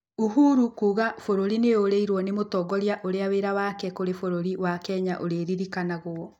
ũhuru kuuga bũrũri nĩ ũrĩirwo nĩ mũtongoria ũrĩa wĩra wake kũrĩ bũrũri wa Kenya ũrĩririkanagwo.